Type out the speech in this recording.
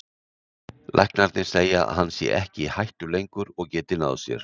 Læknarnir segja að hann sé ekki í hættu lengur og geti náð sér